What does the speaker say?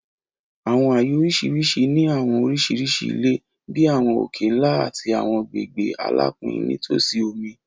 Àwọn ààyè oríṣiríṣi ni àwọn oríṣiríṣi ilẹ̀, bí àwọn òkè-ńlá àti àwọn agbègbè alapin nítòsí omi.